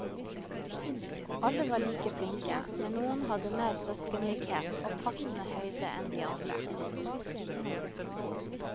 Alle var like flinke, men noen hadde mer søskenlikhet og passende høyde enn de andre.